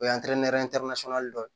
O ye dɔ ye